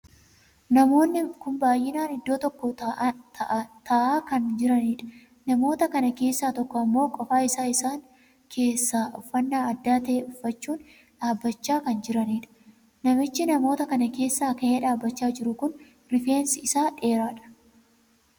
Namoonni kun baay'inaan iddoo tokko taa'aa kan jiraniidha. namoota kan keessaa tokko ammoo qofaa isaa isaan keessaa uffannaa adda tahee uffachuun dhaabbachaa kan jiraniidha. namichi namoota kana keessaa kahee dhaabbachaa jiru kun rifeensi isaa dheeraadha.